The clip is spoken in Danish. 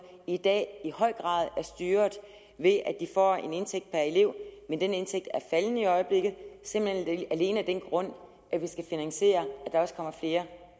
i dag i høj grad er styret ved at de får en indtægt per elev men den indtægt er faldende i øjeblikket simpelt hen alene af den grund at vi skal finansiere at der også kommer flere